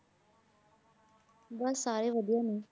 ਬਸ ਸਾਰੇ ਵਧੀਆ ਨੇ।